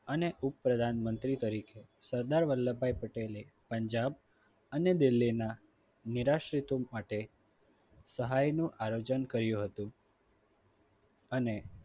અને ઉપપ્રધાનમંત્રી તરીકે સરદાર વલ્લભભાઈ પટેલે પંજાબ અને દિલ્હીના નીરાશેતું માટે સહાયનું આયોજન કર્યું હતું. અને